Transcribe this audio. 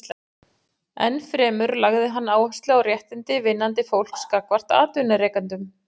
Enn fremur lagði hann áherslu á réttindi vinnandi fólks gagnvart atvinnurekendum.